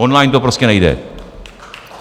Online to prostě nejde.